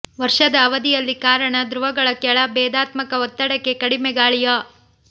ವರ್ಷದ ಅವಧಿಯಲ್ಲಿ ಕಾರಣ ಧ್ರುವಗಳ ಕೆಳ ಭೇದಾತ್ಮಕ ಒತ್ತಡಕ್ಕೆ ಕಡಿಮೆ ಗಾಳಿಯ